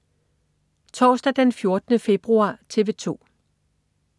Torsdag den 14. februar - TV 2: